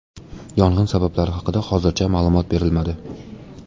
Yong‘in sabablari haqida hozircha ma’lumot berilmadi.